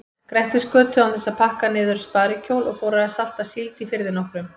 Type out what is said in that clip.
Grettisgötu án þess að pakka niður sparikjól og fór að salta síld í firði nokkrum.